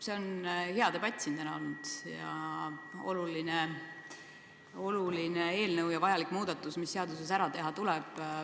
See on hea debatt siin täna olnud ning see on oluline eelnõu ja vajalik muudatus, mis tuleb seaduses ära teha.